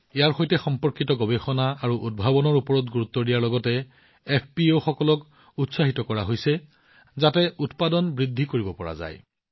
ইয়াৰ সৈতে সম্পৰ্কিত গৱেষণা আৰু উদ্ভাৱনৰ ওপৰত গুৰুত্ব দিয়াৰ লগতে এফপিঅবোৰক উৎসাহিত কৰা হৈছে যাতে উৎপাদন বৃদ্ধি কৰিব পাৰি